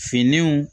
Finiw